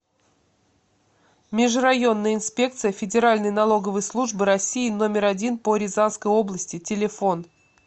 межрайонная инспекция федеральной налоговой службы россии номер один по рязанской области телефон